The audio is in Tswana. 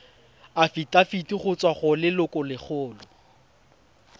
afitafiti go tswa go lelokolegolo